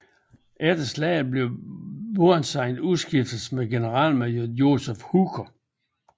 Efter slaget blev Burnside udskiftet med generalmajor Joseph Hooker